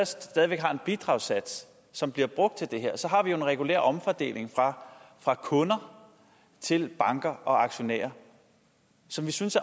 stadig væk har en bidragssats som bliver brugt til det her så har vi en regulær omfordeling fra kunder til banker og aktionærer som vi synes